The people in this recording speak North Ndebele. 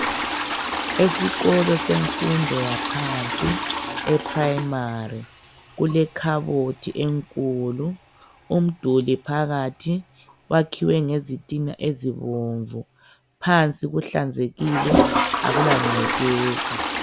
Esikolo semfundo yaphansi, eprimary. Kulekhabothi enkulu. Umduli phakathi. Kwakhiwe ngezitina ezibomvu. Phansi kuhlanzekile, akulangcekeza.